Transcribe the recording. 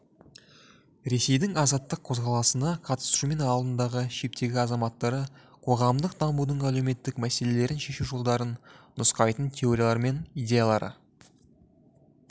ресейдің азаттық қозғалысына қатысушы алдыңғы шептегі азаматтары қоғамдық дамудың әлеуметтік мәселелерін шешу жолдарын нұсқайтын теориялар мен идеяларды